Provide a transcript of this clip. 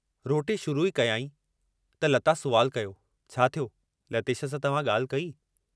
रोटी शुरू ई कयाईं त लता सुवालु कयो, छा थियो, लतेश सां तव्हां ॻाल्हि कई?